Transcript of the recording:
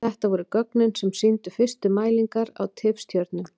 Þetta voru gögnin sem sýndu fyrstu mælingar á tifstjörnum.